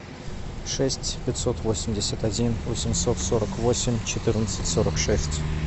шесть пятьсот восемьдесят один восемьсот сорок восемь четырнадцать сорок шесть